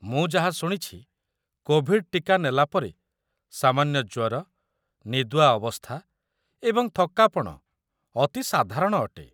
ମୁଁ ଯାହା ଶୁଣିଛି, କୋଭିଡ୍ ଟୀକା ନେଲା ପରେ ସାମାନ୍ୟ ଜ୍ୱର, ନିଦୁଆ ଅବସ୍ଥା ଏବଂ ଥକ୍କାପଣ ଅତି ସାଧାରଣ ଅଟେ।